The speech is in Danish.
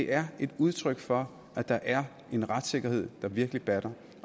er et udtryk for at der er en retssikkerhed der virkelig batter